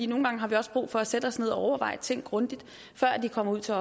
nogle gange har vi også brug for at sætte os ned og overveje tingene grundigt før de kommer ud til